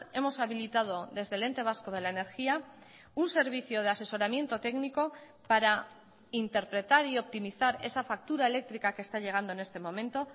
hemos habilitado desde el ente vasco de la energía un servicio de asesoramiento técnico para interpretar y optimizar esa factura eléctrica que está llegando en este momento